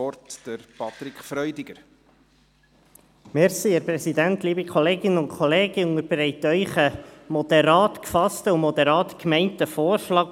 Ich unterbreite Ihnen einen moderat abgefassten und moderat gemeinten Vorschlag.